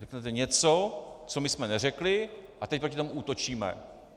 Řeknete něco, co my jsme neřekli, a teď proti tomu útočíme.